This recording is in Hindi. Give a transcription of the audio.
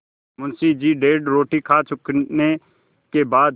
मुंशी जी डेढ़ रोटी खा चुकने के बाद